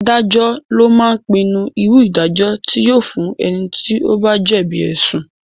Adájọ́ lo máa ń pinnu irú ìdájọ́ tí yóò fún ẹni tí ó bá jẹ̀bi ẹ̀sùn